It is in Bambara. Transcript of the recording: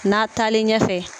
Na taalen ɲɛfɛ.